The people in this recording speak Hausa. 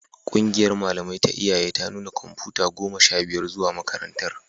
Ƙungiyar malamai ta iyaye ta nuna kwamfuta goma sha biyar zuwa makarantar